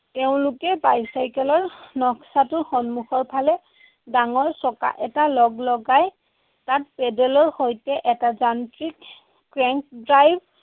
তেঁওলোকে bicycle ৰ নক্সাটো সম্মুখৰফালে ডাঙৰ চকা এটা লগলগাই তাত paddle ৰ সৈতে এটা যান্ত্ৰিক